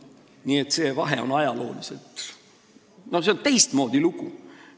Nii et see vahe on ajalooliselt olemas, no see on teistmoodi lugu.